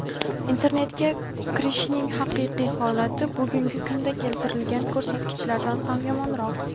internetga kirishning haqiqiy holati bugungi kunda keltirilgan ko‘rsatkichlardan ham yomonroq.